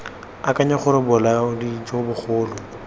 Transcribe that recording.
akanya gore bolaodi jo bogolo